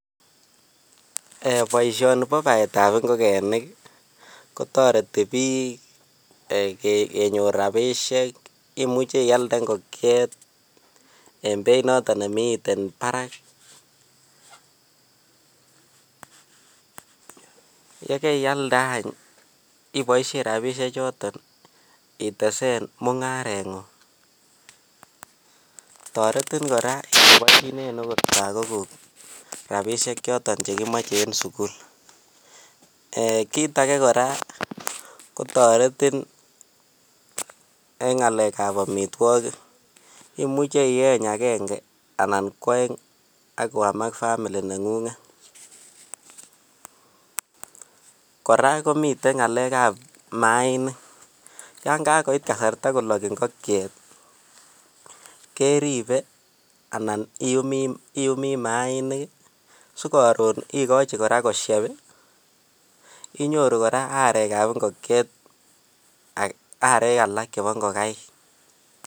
Eeh boishoni boo baetab ing'okenik kotoreti biik eeh kenyor rabishek, imuche ialde ing'okiet en beit noton nemiten barak, yekeialde any iboishen rabishe choton ibaen mung'areng'ung, toretin kora okot ilibonchinen okot lokokuk rabishek choton chekomoche en sukul, eeh kiit akee kora kotoretin eng' ng'alekab amitwokik imuche ieny akeng'e anan ko oeng ak koam ak family neng'ung'et, kora komiten ng'alekab mainik, yoon kakoit kasarta kolok ing'okiet keribe anan iumii mainik sikoron ikochi kora kosieb inyoru kora arekab ing'okiet arek alak chebo ing'okaik.